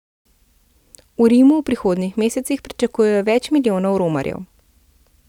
V Rimu v prihodnjih mesecih pričakujejo več milijonov romarjev.